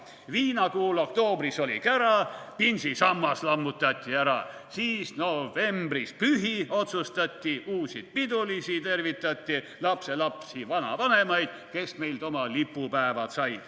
/ Viinakuul, oktoobris oli kära, / pinsisammas lammutati ära, / siis novembris pühi otsustati, / uusi pidulisi tervitati, / lapselapsi, vanavanemaid, / kes meilt oma lipupäevad said.